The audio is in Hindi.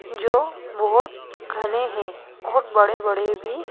जो बहोत घने हैं बहोत बड़े बड़े भी--